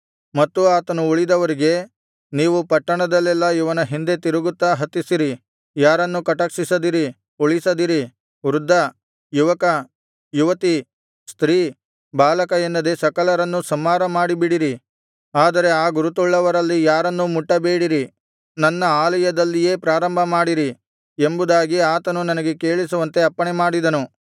ಮತ್ತೂ ಆತನು ಉಳಿದವರಿಗೆ ನೀವು ಪಟ್ಟಣದಲ್ಲೆಲ್ಲಾ ಇವನ ಹಿಂದೆ ತಿರುಗುತ್ತಾ ಹತಿಸಿರಿ ಯಾರನ್ನೂ ಕಟಾಕ್ಷಿಸದಿರಿ ಉಳಿಸದಿರಿ ವೃದ್ಧ ಯುವಕ ಯುವತಿ ಸ್ತ್ರೀ ಬಾಲಕ ಎನ್ನದೆ ಸಕಲರನ್ನೂ ಸಂಹಾರ ಮಾಡಿಬಿಡಿರಿ ಆದರೆ ಆ ಗುರುತುಳ್ಳವರಲ್ಲಿ ಯಾರನ್ನೂ ಮುಟ್ಟಬೇಡಿರಿ ನನ್ನ ಆಲಯದಲ್ಲಿಯೇ ಪ್ರಾರಂಭಮಾಡಿರಿ ಎಂಬುದಾಗಿ ಆತನು ನನಗೆ ಕೇಳಿಸುವಂತೆ ಅಪ್ಪಣೆಮಾಡಿದನು